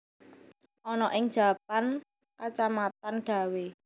Ana ing Japan Kacamatan Dawe